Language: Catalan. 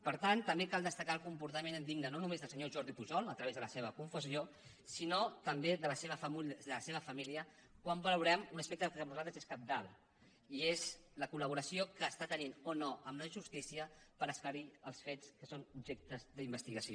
per tant també cal destacar el comportament indigne no només del senyor jordi pujol a través de la seva confessió sinó també de la seva família quan valorem un aspecte que per nosaltres és cabdal i és la col·laboració que està tenint o no amb la justícia per esclarir els fets que són objecte d’investigació